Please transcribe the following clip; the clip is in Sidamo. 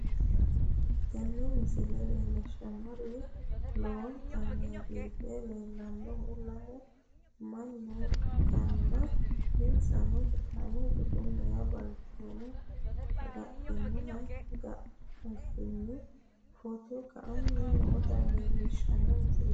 Tini misile leellishshannohu lowontanni biife leellannoha lame manna ikkanna, isino sidaamu budenna balchooma agadhino garinni footo ka"anni noota leellishshanno misileeti.